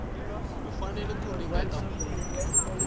u fanele ku ringeta ku